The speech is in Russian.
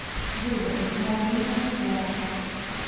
выбрать мобильная связь